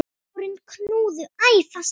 Tárin knúðu æ fastar á.